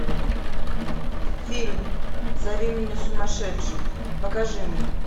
фильм зови меня сумасшедшим покажи мне